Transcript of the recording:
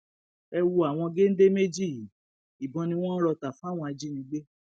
ẹ wojú àwọn géńdé méjì yìí ìbọn ni wọn ń rọ tà fáwọn ajínigbé